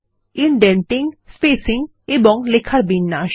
indenting spacing এবং লেখার বিন্যাস